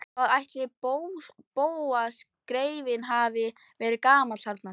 Hvað ætli Bóas greyið hafi verið gamall þarna?